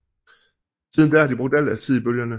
Siden da har de brugt al deres tid i bølgerne